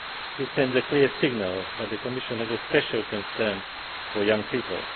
This sends a clear signal that the Commission has a special concern for young people.